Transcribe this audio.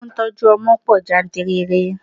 Àwọn tí ó ń tọ́jú ọmọ pọ̀ jáǹtìrẹrẹ.